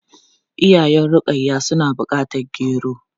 Iyayen Rukayya suna bukatar gero.